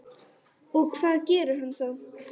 Og hvað gerir hann þá?